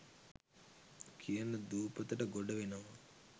කියන දූපතට ගොඩ වෙනවා.